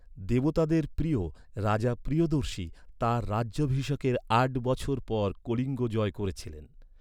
দেবতাদের প্রিয়, রাজা প্রিয়দর্শী, তাঁর রাজ্যাভিষেকের আট বছর পর কলিঙ্গ জয় করেছিলেন।